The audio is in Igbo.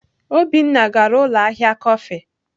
Obinna gara ụlọ ahịa kọfị.